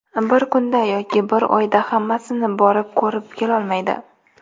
Bir kunda yoki bir oyda hammasini borib, ko‘rib kelolmaydi.